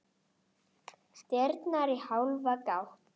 Dyrnar í hálfa gátt.